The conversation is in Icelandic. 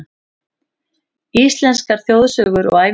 Íslenskar þjóðsögur og ævintýr